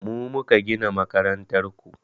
Mu muka gina makarantar ku